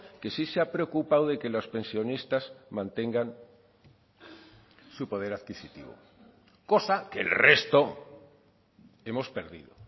que sí se ha preocupado de que los pensionistas mantengan su poder adquisitivo cosa que el resto hemos perdido